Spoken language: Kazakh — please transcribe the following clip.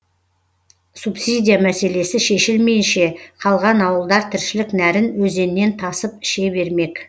субсидия мәселесі шешілмейінше қалған ауылдар тіршілік нәрін өзеннен тасып іше бермек